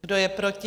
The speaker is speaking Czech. Kdo je proti?